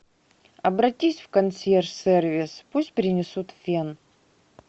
обратись в консьерж сервис пусть принесут фен